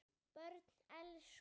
Börn elska.